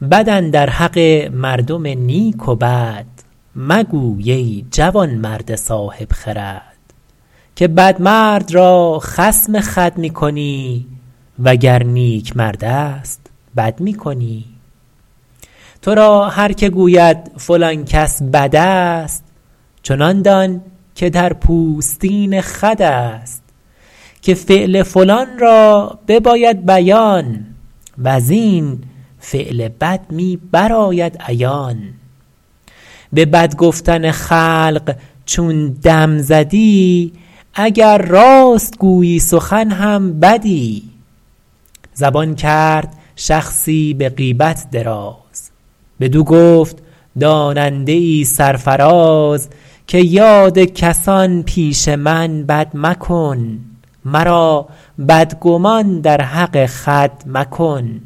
بد اندر حق مردم نیک و بد مگوی ای جوانمرد صاحب خرد که بد مرد را خصم خود می کنی وگر نیک مردست بد می کنی تو را هر که گوید فلان کس بد است چنان دان که در پوستین خود است که فعل فلان را بباید بیان وز این فعل بد می برآید عیان به بد گفتن خلق چون دم زدی اگر راست گویی سخن هم بدی زبان کرد شخصی به غیبت دراز بدو گفت داننده ای سرفراز که یاد کسان پیش من بد مکن مرا بدگمان در حق خود مکن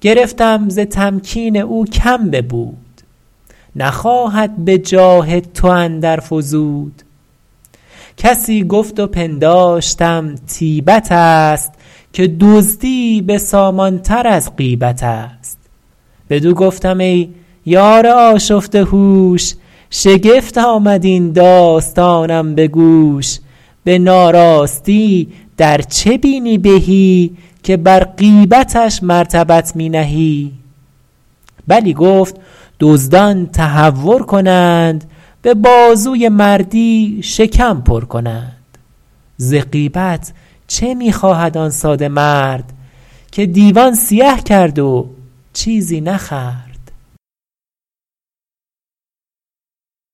گرفتم ز تمکین او کم ببود نخواهد به جاه تو اندر فزود کسی گفت و پنداشتم طیبت است که دزدی بسامان تر از غیبت است بدو گفتم ای یار آشفته هوش شگفت آمد این داستانم به گوش به ناراستی در چه بینی بهی که بر غیبتش مرتبت می نهی بلی گفت دزدان تهور کنند به بازوی مردی شکم پر کنند ز غیبت چه می خواهد آن ساده مرد که دیوان سیه کرد و چیزی نخورد